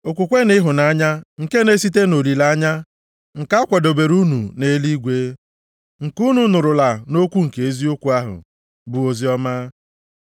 Okwukwe na ịhụnanya nke na-esite nʼolileanya nke a kwadobere unu nʼeluigwe, nke unu nụrụla nʼokwu nke eziokwu ahụ, bụ oziọma,